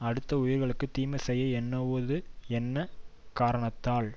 அடுத்த உயிர்களுக்கு தீமை செய்ய எண்ணுவது என்ன காரணத்தால்